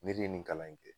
Ne de ye nin kalan in kɛ